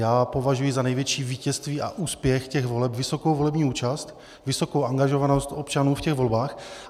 Já považuji za největší vítězství a úspěch těch voleb vysokou volební účast, vysokou angažovanost občanů v těch volbách.